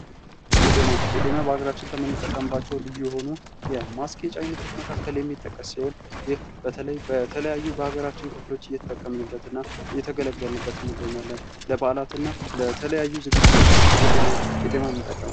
ቄጠማ በሀገራችን ከምንጠቀምባቸው ልዩ የሆኑ የማስጌጫ አይነቶች ውስጥ የሚጠቀስ ሲሆን ይህ በተለይ በተለያዩ የሀገራችን ክፍሎች እየተጠቀምንበትና እየተገለገልንበት እንገኛለን ለበዓላትና ለተለያዩ ዝግጅቶች ቄጠማን እንጠቀማለን።